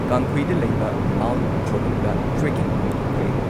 ꯀꯥꯡꯈꯨꯏꯗ ꯂꯩꯕ ꯃꯥꯎꯟꯠ ꯈꯣꯔꯨꯡꯗ ꯇ꯭ꯔꯦꯀꯤꯡ ꯄꯥꯡꯊꯣꯛꯈ꯭ꯔꯦ ꯫